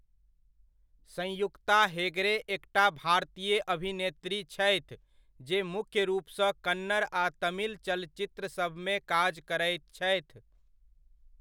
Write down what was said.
संयुक्ता हेगड़े एकटा भारतीय अभिनेत्री छथि जे मुख्य रूपसँ कन्नड़ आ तमिल चलचित्रसभमे काज करैत छथि।